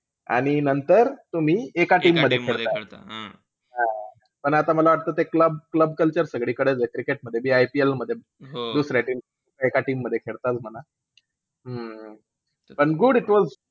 आणि नंतर तुम्ही एका team मध्ये खेळता. हां पण आता मला वाटत ते club club culture सगळीकडेचं आहे. Cricket मध्ये बी IPL मध्ये बी दुसऱ्या team चे एका team मध्ये बी खेळताचं म्हणा. हम्म पण good it was